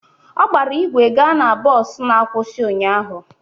Ọ gbara ígwè gaa na bọs na-akwụsị ụnyaahụ